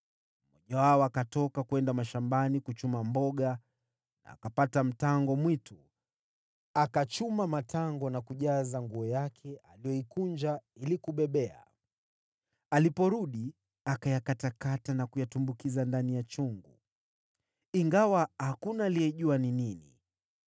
Mmoja wao akatoka kwenda mashambani kuchuma mboga na akapata mtango mwitu. Akachuma matango na kujaza nguo yake aliyoikunja ili kubebea. Aliporudi, akayakatakata na kuyatumbukiza ndani ya chungu, ingawa hakuna aliyejua ni nini.